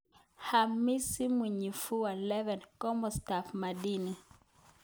Hamisi Mwinyimvua 11Kosostap madini